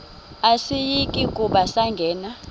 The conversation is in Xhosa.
asiyi kuba sangena